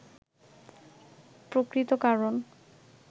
প্রকৃত কারণ